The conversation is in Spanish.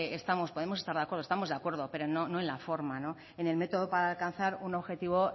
podemos estar de acuerdo estamos de acuerdo pero no en la forma en el método para alcanzar un objetivo